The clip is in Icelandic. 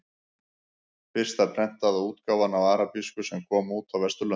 Fyrsta prentaða útgáfan á arabísku sem kom út á Vesturlöndum.